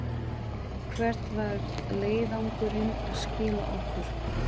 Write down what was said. Hvert var leiðangurinn að skila okkur?